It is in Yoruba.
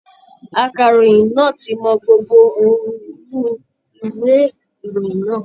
Akàròyìn náà ti mọ gbogbo ohun inú ìwé ìròyìn náà.